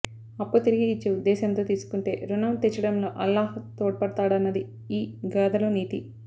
అప్పు తిరిగి ఇచ్చే ఉద్దేశంతో తీసుకుంటే రుణం తీర్చడంలో అల్లాహ్ తోడ్పడతాడన్నది ఈ గాథలో నీతి